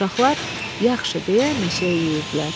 Uşaqlar, yaxşı, deyə meşəyə yüyürdülər.